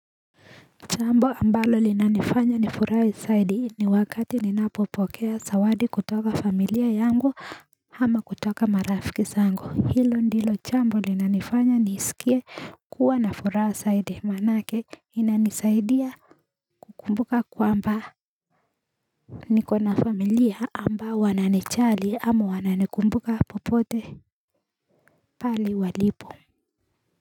Jambo ambalo linanifanya nifurahi zaidi ni wakati ninapopokea zawadi kutoka familia yangu ama kutoka marafiki zangu hilo ndilo jambo linanifanya nisikie kuwa na furaha zaidi maanake inanisaidia kukumbuka kwamba niko na familia ambao wananijali ama wananikumbuka popote pale walipo.